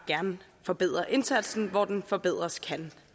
gerne forbedre indsatsen hvor den kan forbedres